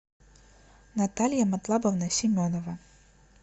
наталья матлабовна семенова